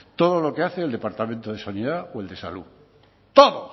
todo lo que hace el departamento de sanidad o el de salud todo